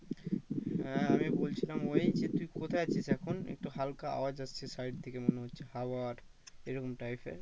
হ্যাঁ আমি বলছিলাম ওই যে তুই কোথায় আছিস এখন একটু হালকা আওয়াজ আসছে side থেকে মনে হচ্ছে হাওয়ার এরকম type এর